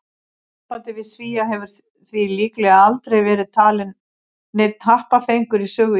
Sambandið við Svía hefur því líklega aldrei verið talinn neinn happafengur í sögu Íslendinga.